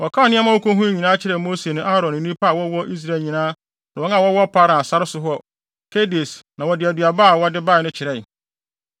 Wɔkaa nea wokohui nyinaa kyerɛɛ Mose ne Aaron ne nnipa a wɔwɔ Israel nyinaa ne wɔn a wɔwɔ Paran sare so wɔ Kades na wɔde aduaba a wɔde bae no kyerɛe.